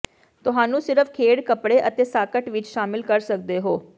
ਤੁਹਾਨੂੰ ਸਿਰਫ ਖੇਡ ਕੱਪੜੇ ਅਤੇ ਸਾਕਟ ਵਿੱਚ ਸ਼ਾਮਲ ਕਰ ਸਕਦੇ ਹੋ